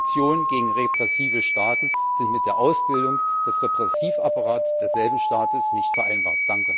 Sanktionen gegen repressive Staaten sind mit der Ausbildung des Repressivapparats desselben Staates nicht vereinbar!